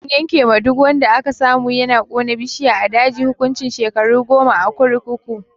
An yanke ma duk wanda aka samu yana kona bishiya a daji hukuncin shekaru goma a kurkuku.